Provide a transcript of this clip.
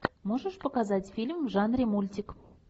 можешь показать фильм в жанре мультик